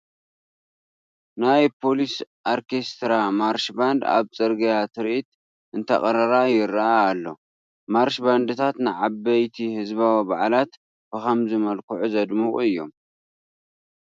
ናይ ፖሊስ ኦርኬስትራ ማርሽ ባንድ ኣብ ፅርጊያ ትርኢት እንተቕርራ ይርአ ኣሎ፡፡ ማርሽ ባንድታት ንዓበይቲ ህዝባዊ በዓላት ብኸምዚ መልክዑ ዘድምቑ እዮም፡፡